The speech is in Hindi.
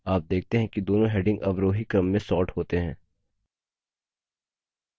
आप देखते हैं कि दोनों headings अवरोही क्रम में सॉर्ट होते हैं